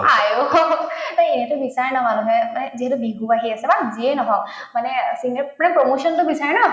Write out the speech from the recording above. আঐ এই এইটো বিচাৰেই ন মানুহে মানে যিহেতু বিহু আহি আছে বা যিয়েই নাহক মানে promotion তো বিচাৰে না